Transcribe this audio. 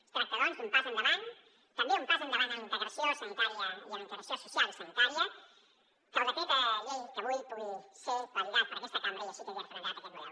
es tracta doncs d’un pas endavant també un pas endavant en la integració sanitària i en la integració social i sanitària que el decret llei avui pugui ser validat per aquesta cambra i així quedi referendat aquest model